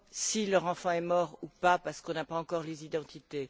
si leur enfant est mort ou non parce qu'on n'a pas encore les identités.